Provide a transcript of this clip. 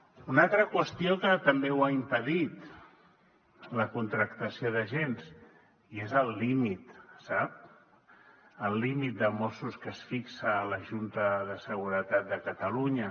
una altra qüestió que també ho ha impedit la contractació d’agents i és el límit sap el límit de mossos que es fixa a la junta de seguretat de catalunya